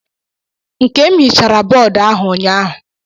Nkem hichara bọodụ ahụ ụnyaahụ.